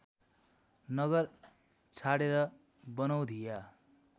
नगर छाडेर बनौधिया